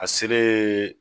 A seleeen